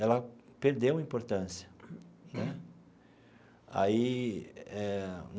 Ela perdeu a importância né aí eh.